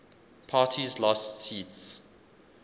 parties lost seats